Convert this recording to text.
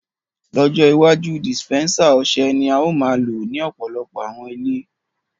Lọjọ iwaju, disipẹnsa ọṣẹ ni ao maa lo ni ọpọlọpọ̀ awọn ilẹ̀.